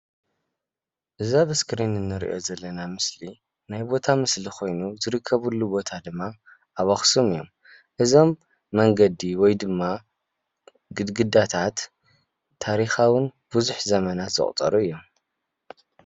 እዚ ኣብ እስኪሪን እንርኦ ዘለና ምስሊ ናይ ቦታ ምስሊ ኮይኑ ዝርከበሉ ቦታ ድማ አብ አክሱም እዮም፡፡ እዞም መንገዲ ወይ ድማ ግድግዳታት ታሪካውን ብዙሕ ዘመናት ዘቑፀሩ እዮም ፡፡